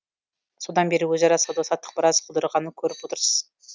содан бері өзара сауда саттық біраз құлдырағанын көріп отырсыз